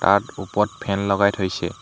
তাত ওপৰত ফেন লগাই থৈছে।